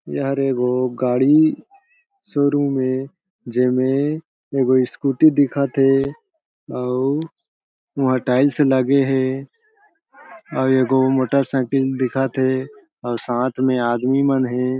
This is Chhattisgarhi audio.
एहर एगो गाड़ी शोरूम ए जेमे एगो स्कूटी दिखत हे अउ उहाँ टाइल्स लगे हे अउ ए गो मोटरसाइकिल दिखत हे और साथ में आदमी मन हे।